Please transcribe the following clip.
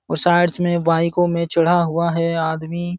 और में बाइको में चढ़ा हुआ है आदमी।